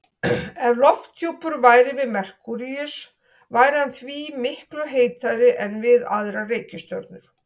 Ef lofthjúpur væri við Merkúríus væri hann því miklu heitari en við aðrar reikistjörnur.